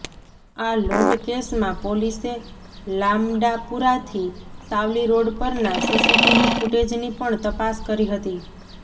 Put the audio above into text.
આ લંૂટ કેસમાં પોલીસે લામડાપુરાથી સાવલી રોડ પરના સીસીટીવી ફૂટેજની પણ તપાસ કરી હતી